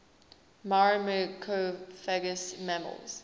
myrmecophagous mammals